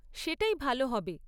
সেটাই ভালো হবে।